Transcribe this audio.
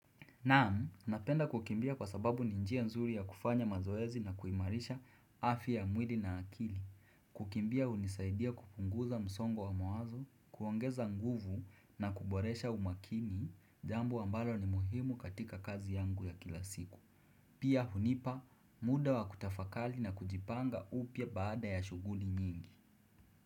Naam, napenda kukimbia kwa sababu ni njia nzuri ya kufanya mazoezi na kuimarisha afya ya mwili na akili. Kukimbia unisaidia kupunguza msongo wa mawazo, kuongeza nguvu na kuboresha umakini, jambo ambalo ni muhimu katika kazi yangu ya kila siku. Pia hunipa muda wa kutafakali na kujipanga upya baada ya shughuli nyingi.